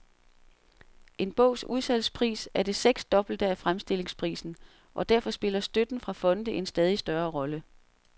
En bogs udsalgspris er det seksdobbelte af fremstillingsprisen, og derfor spiller støtten fra fonde en stadig større rolle.